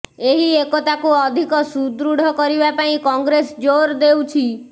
ଏହି ଏକତାକୁ ଅଧିକ ସୁଦୃଢ଼ କରିବା ପାଇଁ କଂଗ୍ରେସ ଜୋର୍ ଦେଉଛି